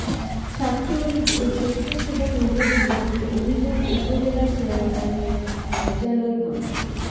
ছাত্রলীগ ও স্বেচ্ছাসেবক লীগের বিরুদ্ধে অভিযোগ উপজেলা চেয়ারম্যানের কার্যালয় ভাঙচুর